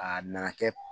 A nana kɛ